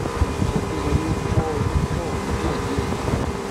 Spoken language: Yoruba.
ó tún sọ pé orí ń fọ orí ń fọ òun díẹ díẹ